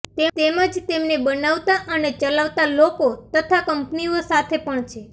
તેમજ તેમને બનાવતા અને ચલાવતા લોકો તથા કંપનીઓ સાથે પણ છે